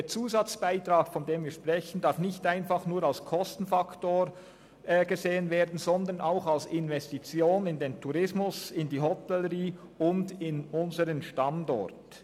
Der Zusatzbeitrag, von dem wir sprechen, darf nicht einfach nur als Kostenfaktor angesehen werden, sondern auch als Investition in den Tourismus, in die Hotellerie und in unseren Standort.